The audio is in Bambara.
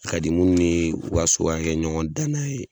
A ka di munnu ye u ka so ka kɛ ɲɔgɔndannan ye